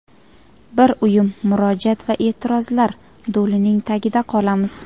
bir uyum murojaat va e’tirozlar do‘lining tagida qolamiz.